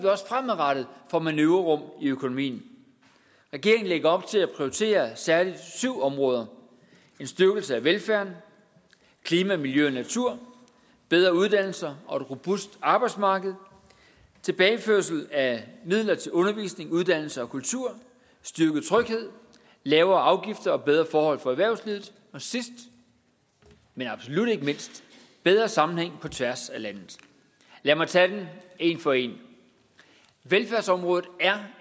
vi også fremadrettet får manøvrerum i økonomien regeringen lægger op til at prioritere særlig syv områder en styrkelse af velfærden klima miljø og natur bedre uddannelser og et robust arbejdsmarked tilbageførsel af midler til undervisning uddannelse og kultur styrket tryghed lavere afgifter og bedre forhold for erhvervslivet og sidst men absolut ikke mindst bedre sammenhæng på tværs af landet lad mig tage dem en for en velfærdsområdet er